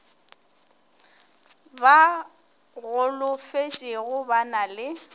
ba golofetšego ba na le